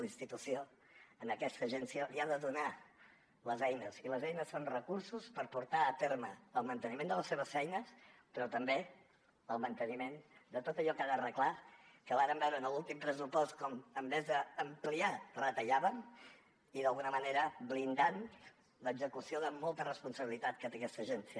la institució a aquesta agència li ha de donar les eines i les eines són recursos per portar a terme el manteniment de les seves feines però també el manteniment de tot allò que ha d’arreglar que vàrem veure en l’últim pressupost com en lloc d’ampliar retallàvem i d’alguna manera blindant l’execució de molta responsabilitat que té aquesta agència